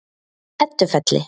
Eddufelli